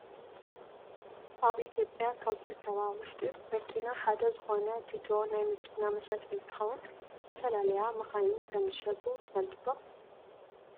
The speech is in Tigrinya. ኣብ ኢትዮጵያ ካብ ዝርከባ መሸጢ መኪና ሓደ ዝኮነ ቲቶ ናይ መኪና መሸጢ እንትከውን ዝተፈላለያ መካይን ከም ዝሸጡ ትፈልጡ ዶ ?